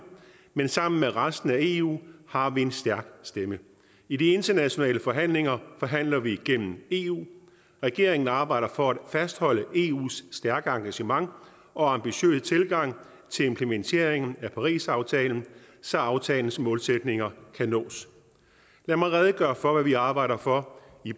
men sammen med resten af eu har vi en stærk stemme i de internationale forhandlinger forhandler vi gennem eu regeringen arbejder for at fastholde eus stærke engagement og ambitiøse tilgang til implementeringen af parisaftalen så aftalens målsætninger kan nås lad mig redegøre for hvad vi arbejder for